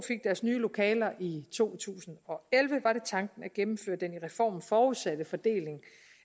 nye lokaler i to tusind og elleve var det tanken at gennemføre den i reformen forudsatte fordeling